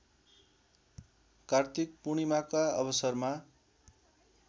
कार्तिक पूर्णिमाका अवसरमा